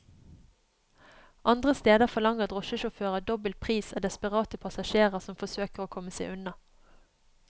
Andre steder forlanger drosjesjåfører dobbel pris av desperate passasjerer som forsøker å komme seg unna.